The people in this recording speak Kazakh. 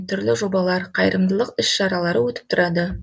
түрлі жобалар қайырымдылық іс шаралары өтіп тұрады